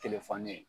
Telefɔni ye